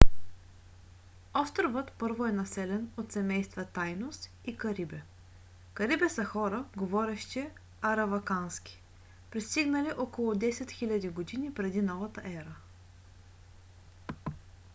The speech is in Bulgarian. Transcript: островът първо е населен от семейства тайнос и карибе. карибе са хора говорещи аравакански пристигнали около 10 000 г. пр.н.е